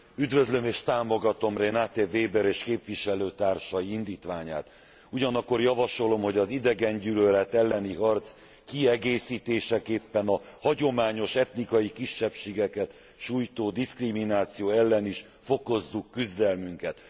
Üdvözlöm és támogatom Renate Weber és képviselőtársai indítványát. Ugyanakkor javasolom, hogy az idegengyűlölet elleni harc kiegészítéseképpen a hagyományos etnikai kisebbségeket sújtó diszkrimináció ellen is fokozzuk küzdelmünket.